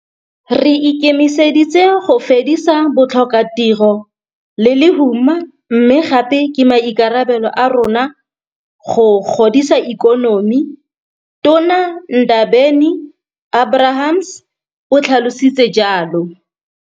Re ikemiseditse go fedisa botlhokatiro le lehuma mme gape ke maikarabelo a rona go godisa ikonomi, Tona Ndabeni-Abrahams o tlhalositse jalo.